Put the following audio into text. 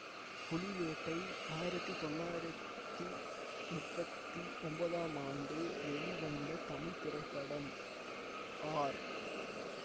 புலிவேட்டை ஆயிரத்தி தொள்ளாயிரத்தி முப்பத்தி ஒன்போதாம் ஆண்டு வெளிவந்த தமிழ் திரைப்படமாகும் ஆர்